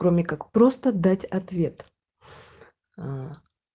кроме как просто дать ответ аа